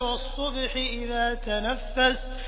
وَالصُّبْحِ إِذَا تَنَفَّسَ